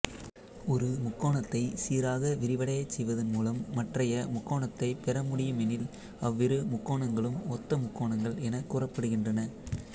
ஒரு முக்கோணத்தைச் சீராக விரிவடையச் செய்வதன் மூலம் மற்றைய முக்கோணத்தைப் பெறமுடியுமெனில் அவ்விரு முக்கோணங்களும் ஒத்த முக்கோணங்கள் எனக் கூறப்படுகின்றன